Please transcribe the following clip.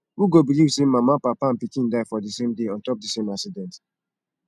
who go believe say mama papa and pikin die for the same day on top the same accident